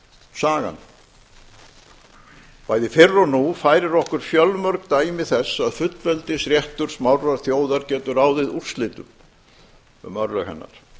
sagan bæði fyrr og nú færir okkur fjölmörg dæmi þess að fullveldisréttur smárrar þjóðar getur ráðið úrslitum um örlög hennar